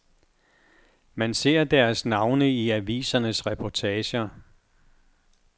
Man ser deres navne i avisernes reportager.